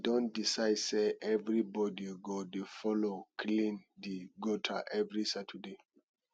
Don decide sey everybodi go dey folo clean di gutter every saturday